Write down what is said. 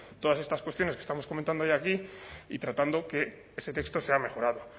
todas estas cuestiones que estamos comentando hoy aquí y tratando que ese texto sea mejorado